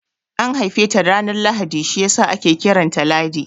An haife ta ranar Lahadi shiyasa ake kiranta Ladi